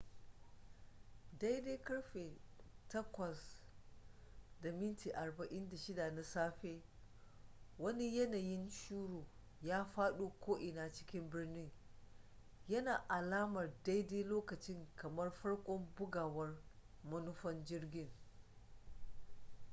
daidai ƙarfe 8:46 na safe wani yanayin shuru ya faɗo ko'ina cikin birnin yana alamar daidai lokacin kamar farkon bugawar manufan jirgin